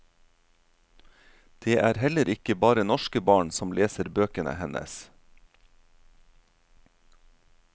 Det er heller ikke bare norske barn som leser bøkene hennes.